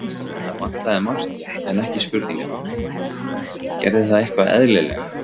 Það vantaði margt, en ekki spurningarnar: Gerði það eitthvað eðlilega?